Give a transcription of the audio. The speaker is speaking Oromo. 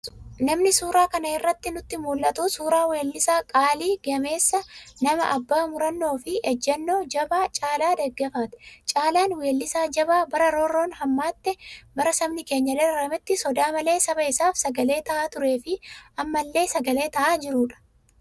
Namni suuraa kana irraa nutti mul'atu, suuraa weellisaa qaalii, gameessa namaa, abbaa murannoo fi ejjennoo jabaa Caalaa Daggafaati. Caalaan weellisaa jabaa bara roorroon hammaatte, bara sabni keenya dararametti sodaa malee saba isaaf sagalee ta'aa turee fi ammallee sagalee ta'aa jirudha.